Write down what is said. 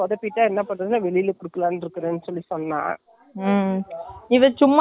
இப்போ அவளே பயப்புடுறான்னா, நான் எங்களுக்கு அதை விட பயமா இருக்குது.அதுனால இதுல இப்போ தைச்சிட்டு, எங்களுக்கு .